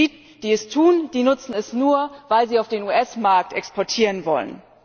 Und die, die es tun, nutzen sie nur, weil sie in den US Markt exportieren wollen.